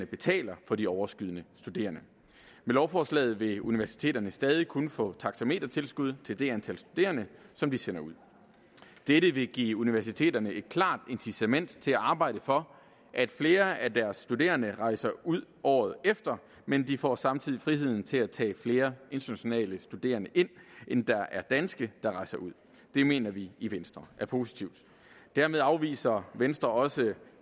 betaler for de overskydende studerende med lovforslaget vil universiteterne stadig kun få taxametertilskud til det antal studerende som de sender ud dette vil give universiteterne et klart incitament til at arbejde for at flere af deres studerende rejser ud året efter men de får samtidig friheden til at tage flere internationale studerende ind end der er danske der rejser ud det mener vi i venstre er positivt dermed afviser venstre også